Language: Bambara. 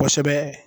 Kosɛbɛ